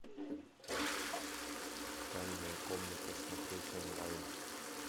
тайная комната смотреть онлайн